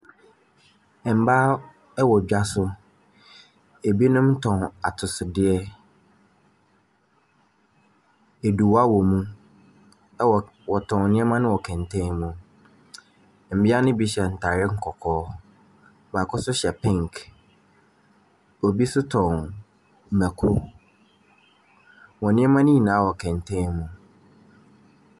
Mmaa wɔ dwa so. Ebinom tɔn atosodeɛ. Aduwa wɔ mu. ℇwɔ wɔtɔn nneɛma no wɔ kɛntɛn mu. Mmea no bi hyɛ ntaare kɔkɔɔ, baako nso hyɛ pink. Obi nso tɔn mako. Wɔn nneɛma no nyinaa wɔ kɛntɛn mu.